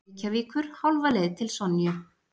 Reykjavíkur, hálfa leið til Sonju.